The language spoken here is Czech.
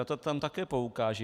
Na to tam také poukážu.